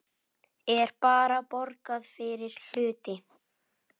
Er bara borgað fyrir hluti?